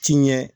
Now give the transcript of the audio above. Ci ɲɛ